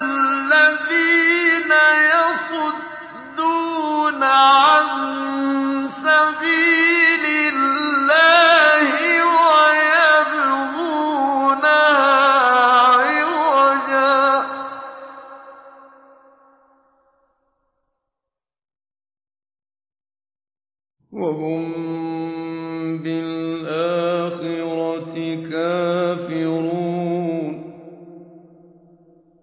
الَّذِينَ يَصُدُّونَ عَن سَبِيلِ اللَّهِ وَيَبْغُونَهَا عِوَجًا وَهُم بِالْآخِرَةِ كَافِرُونَ